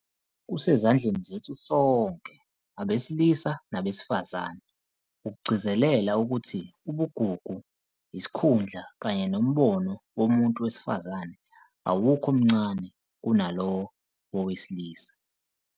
Kusezandleni zethu - sonke abesilisa nabesifazane - ukugcizelela ukuthi ubugugu, isikhundla kanye nombono womuntu wesifazane awukho mncane kunalowo wowesilisa.